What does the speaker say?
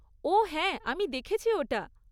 ওহ হ্যাঁ আমি দেখেছি ওটা।